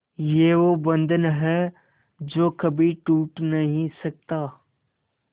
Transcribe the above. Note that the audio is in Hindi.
ये वो बंधन है जो कभी टूट नही सकता